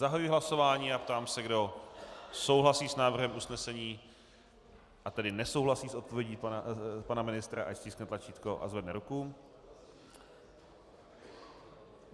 Zahajuji hlasování a ptám se, kdo souhlasí s návrhem usnesení, a tedy nesouhlasí s odpovědí pana ministra, ať stiskne tlačítko a zvedne ruku.